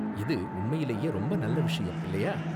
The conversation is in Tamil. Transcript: இது உண்மையிலேயே ரொம்ப நல்ல விஷயம், இல்லையா?